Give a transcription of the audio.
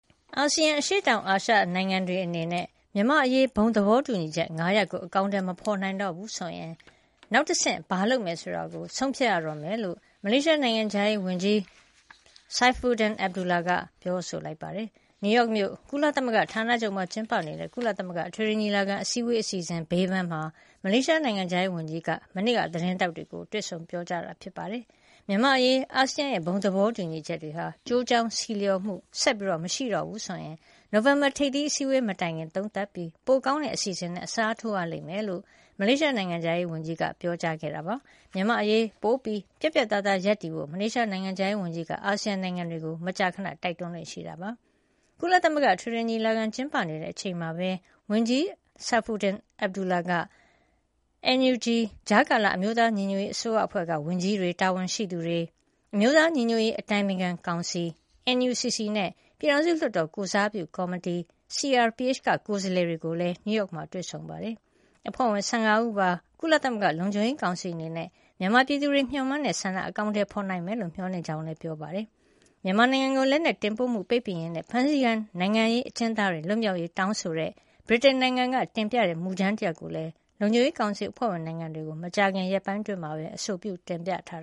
အာဆီယံ အရှေ့တောင်အာရှနိုင်ငံတွေအနေနဲ့ မြန်မာ့အရေး ဘုံသဘောတူညီချက် ၅ ရပ်ကို အကောင်အထည် မဖော်နိုင်တော့ဘူးဆိုရင် နောက်တဆင့် ဘာလုပ်မလဲဆိုတာ ဆုံးဖြတ်ရတော့မယ်လို့ မလေးရှားနိုင်ငံခြားရေးဝန်ကြီး Saifuddin Abdullah ပြောပါတယ်။ နယူးယောက်မြို့ ကုလသမဂ္ဂဌာနချုပ်မှာ ကျင်းပနေတဲ့ ကုလသမဂ္ဂအထွေထွေညီလာခံ အစည်းအဝေးအစီအစဉ်ဘေးပန်းမှာ မလေးရှားနိုင်ငံခြားရေးဝန်ကြီး မနေ့က သတင်းထောက်တွေကို တွေ့ဆုံတာပါ။ မြန်မာ့အရေး အာဆီယံရဲ့ဘုံသဘောတူညီချက်တွေဟာ ကျိုးကြောင်းဆီလျှော်မှု ဆက်မရှိတော့ဘူးဆိုရင် နိုဝင်ဘာ ထိပ်သီး အစည်းအဝေးမတိုင်ခင်သုံးသပ်ပြီး ပိုကောင်းတဲ့အစီအစဉ်နဲ့ အစားထိုးရလိမ့်မယ်လို့ မလေးရှားနိုင်ငံခြားရေးဝန်ကြီးကပြောပါတယ်။ မြန်မာ့အရေး ပိုပြီး ပြတ်ပြတ်သားသားရပ်တည်ဖို့ မလေးရှားနိုင်ငံခြားရေးဝန်ကြီးက အာဆီယံနိုင်ငံတွေကို မကြာခန တိုက်တွန်းလေ့ရှိပါတယ်။ ကုလသမဂ္ဂ အထွေထွေညီလာခံ ကျင်းပနေတဲ့အချိန်မှာပဲ ဝန်ကြီး Saifuddin Abdullah ဟာ NUG ကြားကာလ အမျိုးသားညီညွတ်ရေးအစိုးရအဖွဲ့က ဝန်ကြီးတွေ၊ တာဝန်ရှိသူတွေ၊ အမျိုးသားညီညွတ်ရေး အတိုင်ပင်ခံကောင်စီ NUCC နဲ့ ပြည်ထောင်စုလွှတ်တော် ကိုယ်စားပြုကော်မတီ CRPH က ကိုယ်စားလှယ်တွေကိုလည်း နယူးယောက်မြို့မှာ တွေ့ဆုံပါတယ်။ အဖွဲ့ဝင် ၁၅ ဦးပါ ကုလသမဂ္ဂလုံခြုံရေးကောင်စီအနေနဲ့ မြန်မာပြည်သူတွေ မျှော်မှန်းတဲ့ဆန္ဒကို အကောင်အထည်ဖော်နိုင်မယ်လို့ မျှော်လင့်တဲ့အကြောင်းလည်း Saifuddin Abdullah က ပြောပါတယ်။ မြန်မာနိုင်ငံကို လက်နက်တင်ပို့မှု ပိတ်ပင်ရေးနဲ့ ဖမ်းဆီးခံ နိုင်ငံရေးအကျဉ်းသားတွေ လွတ်မြောက်ရေးတောင်းဆိုတဲ့ ဗြိတိန်နိုင်ငံ တင်ပြတဲ့မူကြမ်းတရပ် လုံခြုံရေးကောင်စီအဖွဲ့ဝင်နိုင်ငံတွေကို မကြာခင်ရက်ပိုင်းအတွင်းက အဆိုပြု တင်ပြထား